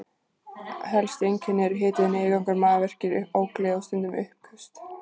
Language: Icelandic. Helstu einkennin eru hiti, niðurgangur, magaverkir, ógleði og stundum uppköst.